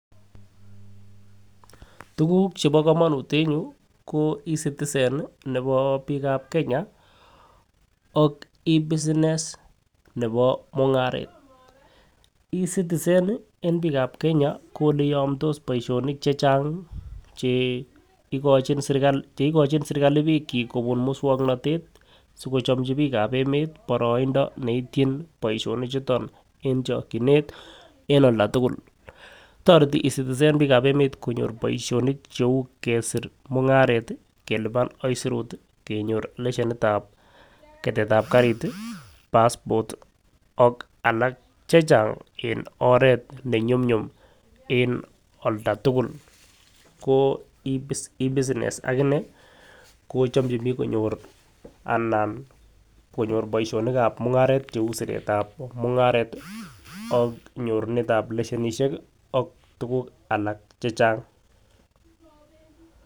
Tukuk chebo komonut en yuu ko ecitizen nii nebo bik ab Kenya ak ebusiness nebo mungaret. Ecitizen en bikab Kenya ko neiyomdos boishoni chechang cheikochi serikali cheikochi serikali bikchik kobut muswoknotet sikochomchi bik ab emet boroindo neityin boishoni chuton en chokinet en olda tukul. Toreti ecitizen bik ab emet konyor boishoni cheu kesir mungaret tii kelipan aisurut tii kenyor leshenitab ketetab karit tii passport ak alak che Chang en oret nenyumyum en olda tukul ko ebusiness akinee ko chomchi bik konyor anan konyor boishonikab mungaret cheu siretab mungaret tii ak nyorunetab leahenishek kii ak tukuk alak che Chang.